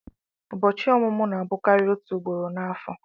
Ụbọchị ọmụmụ na-abụkarị òtù ugboro n'afọ.